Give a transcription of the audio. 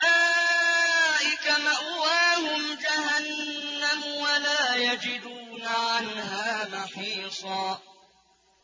أُولَٰئِكَ مَأْوَاهُمْ جَهَنَّمُ وَلَا يَجِدُونَ عَنْهَا مَحِيصًا